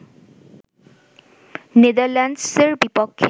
নেদারল্যান্ডসের বিপক্ষে